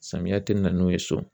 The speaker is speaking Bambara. Samiyɛ tɛ na n'u ye so